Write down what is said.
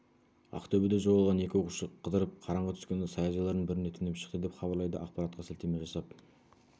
ақтөбеде жоғалған екі оқушы қыдырып қараңғы түскенде саяжайлардың біріне түнеп шықты деп хабарлайды ақпаратқа сілтеме жасап